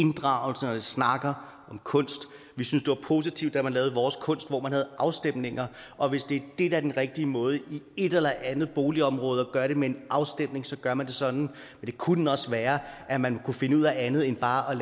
inddragelse når vi snakker om kunst vi synes det var positivt da man lavede vores kunst hvor man havde afstemninger og hvis det er den rigtige måde i et eller andet boligområde altså at gøre det med en afstemning så gør man det sådan det kunne også være at man kunne finde ud af andet end bare at